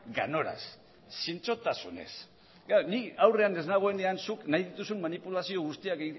ganoraz zintzotasunez nik aurrean ez nagoenean zuk nahi dituzun manipulazio guztiak